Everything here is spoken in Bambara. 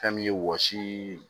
Fɛn min ye wɔsiii